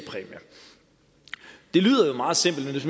lyder meget simpelt